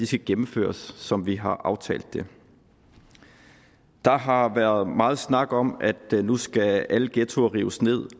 skal gennemføres som vi har aftalt det der har været meget snak om at nu skal alle ghettoer rives ned